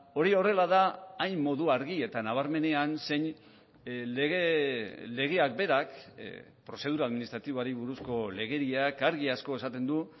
hori horrela da hain modu argi eta nabarmenean zein legeak berak prozedura administratiboari buruzko legediak argi asko esaten du